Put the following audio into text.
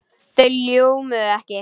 Þau ljómuðu ekki.